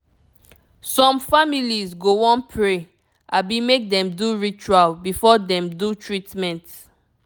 some families go wan pray abi make dem do ritual before dem do treatment.